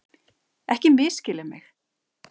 Ekki misskilja mig!